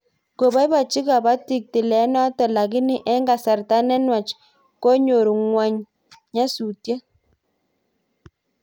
Kobobochi koboitiik tileenoto lakini eng kasarta ne nwach konyor ngwony nyasutiet